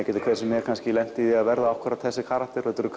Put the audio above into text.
getur hver sem er lent í því að verða akkúrat þessir karakterar þetta eru